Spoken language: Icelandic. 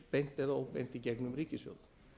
beint eða óbeint í gegnum ríkissjóð